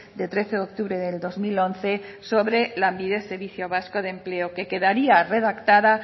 de trece de octubre de dos mil once sobre lanbide servicio vasco de empleo que queda redactada